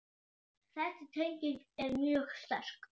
Þessi tenging er mjög sterk.